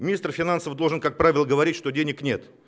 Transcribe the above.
министр финансов должен как правильно говорить что денег нет